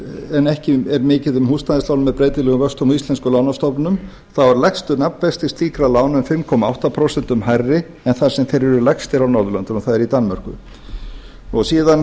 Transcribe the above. en ekki er mikið um húsnæðislán með breytilegum vöxtum á íslenskum lánastofnunum þá eru lægstu nafnvextir slíkra lána um fimm átta prósent hærri en þar sem þeir eru lægstir á norðurlöndunum það er í danmörku síðan